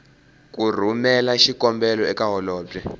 ku rhumela xikombelo eka holobye